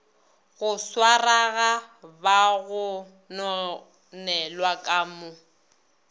go swarwaga bagononelwa ka mo